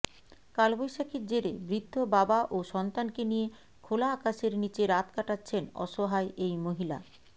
কালবৈশাখীর জেরে বৃদ্ধ বাবা ও সন্তানকে নিয়ে খোলা আকাশের নিচে রাত কাটাচ্ছেন অসহায় এই মহিলা